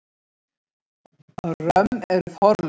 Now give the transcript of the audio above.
Römm eru forlögin.